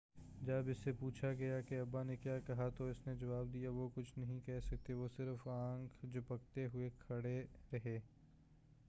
جب اس سے پوچھا گیا کہ ابا نے کیا کہا تو اس نے جواب دیا وہ کچھ نہیں کہہ سکے وہ صرف آنکھ جھپکتے ہوئے کھڑے رہے